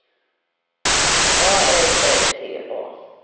A L F T A